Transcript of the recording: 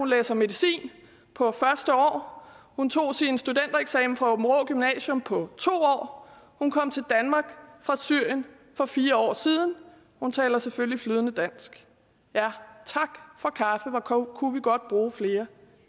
læser medicin på første år hun tog sin studentereksamen fra aabenraa gymnasium på to år hun kom til danmark fra syrien for fire år siden hun taler selvfølgelig flydende dansk ja tak for kaffe hvor kunne vi godt bruge flere